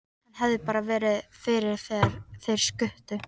Hann hefði bara verið fyrir þegar þeir skutu.